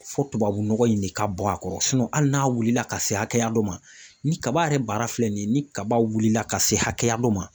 Fɔ tubabu nɔgɔ in de ka bɔn a kɔrɔ sinɔn hali n'a wulila ka se hakɛya dɔ ma ni kaba yɛrɛ baara filɛ nin ye ni kaba wulila ka se hakɛya dɔ ma